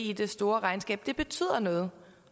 i det store regnskab men det betyder noget